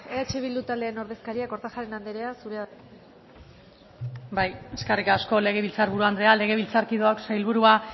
eskerrik asko guanche anderea eh bilduren ordezkaria kortajarena andrea zurea da hitza bai eskerrik asko legebiltzar buru andrea legebiltzarkideok sailburua